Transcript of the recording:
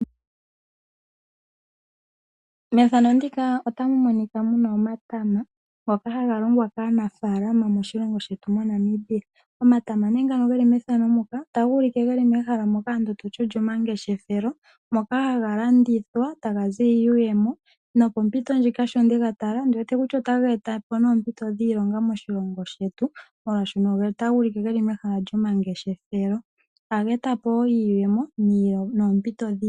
Omatama ohaga longwa kaanafaalama moshilongo shetu Namibia. Omatama ogeli mehala lyomangeshefelo moka haga landithwa ga ze iiyemo. Ohaga e ta po wo oompito dhiilonga moshilongo shetu molwaashoka oge li mehala lyomangeshefelo.